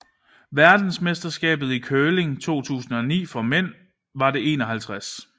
Verdensmesterskabet i curling 2009 for mænd var det 51